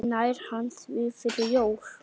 Nær hann því fyrir jólin?